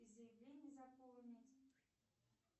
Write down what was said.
и заявление заполнить